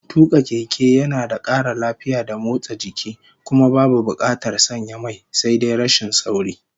Tuka keke yana da kara lafiya da motsa jiki, kuma babu bukatar sanya mai. Sai dai rashin sauri